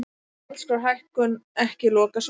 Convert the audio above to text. Gjaldskrárhækkun ekki lokasvar